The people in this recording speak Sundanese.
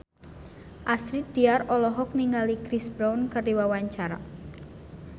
Astrid Tiar olohok ningali Chris Brown keur diwawancara